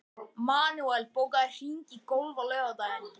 Manuel, bókaðu hring í golf á laugardaginn.